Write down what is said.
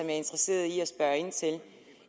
er interesseret i at spørge ind til